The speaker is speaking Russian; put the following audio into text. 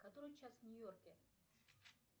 который час в нью йорке